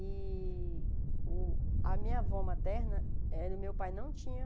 E o a minha avó materna, eh o meu pai não tinha...